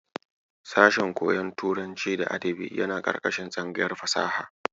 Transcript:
Sashen koyon turanci da adabi yana ƙarƙashin tsangayar fasaha.